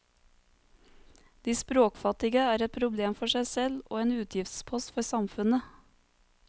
De språkfattige er et problem for seg selv og en utgiftspost for samfunnet.